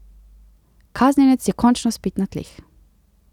Kaznjenec je končno spet na tleh.